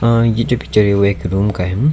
और ये जो पिक्चर है वो एक रूप का है।